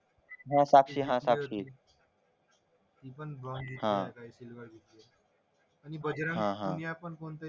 हा साक्षी हा साक्ष